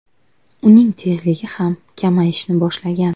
Uning tezligi ham kamayishni boshlagan.